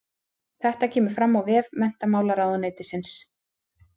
Þetta kemur fram á vef menntamálaráðuneytisins